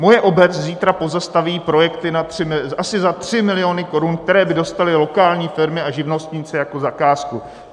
Moje obec zítra pozastaví projekty asi za 3 miliony korun, které by dostaly lokální firmy a živnostníci jako zakázku.